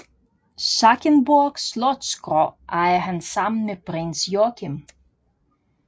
Schackenborg Slotskro ejer han sammen med Prins Joachim